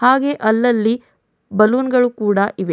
ಹಾಗೆ ಅಲ್ಲಲ್ಲಿ ಬಲೂನ್ ಗಳು ಕೂಡ ಇವೆ.